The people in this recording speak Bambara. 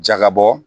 Jaga bɔ